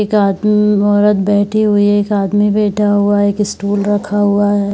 एक आदमी औरत बैठी हुई है । एक आदमी बैठा हुआ है । एक स्टूल रखा हुआ है ।